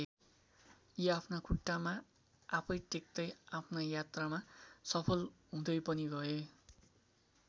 यी आफ्ना खुट्टामा आफै टेक्तै आफ्ना यात्रामा सफल हुँदै पनि गए।